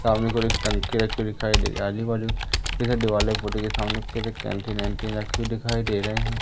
सामने को एक टंकी रखी हुई दिखाई दे रही आजू-बाजू के सामने एक कैंटीन ऐटीन रखी हुए दिखाई दे रहे है।